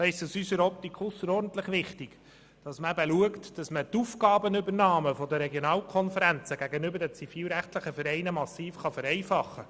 Aus unserer Optik ist es ausserordentlich wichtig darauf zu achten, die Aufgabenübernahme der Regionalkonferenzen gegenüber den zivilrechtlichen Vereinen massiv zu vereinfachen.